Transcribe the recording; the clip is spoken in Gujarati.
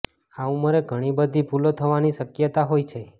આ ઉંમરે ઘણી બધી ભૂલો થવાની શક્યતા હોય છે